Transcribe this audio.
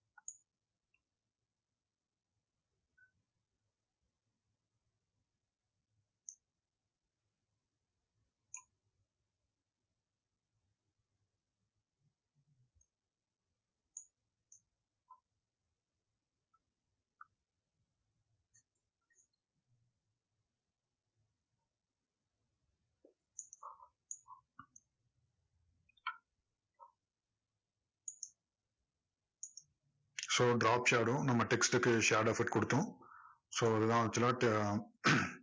so drop shadow உம் நம்ம text க்கு shadow effect கொடுத்தோம் so அதுதான் actual ஆ